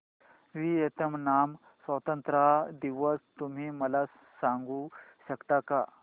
Vietnam स्वतंत्रता दिवस तुम्ही मला सांगू शकता का